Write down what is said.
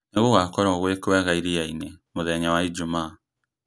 nī gūgakorwo gwī kwega iriainī mūthenya wa ijumaa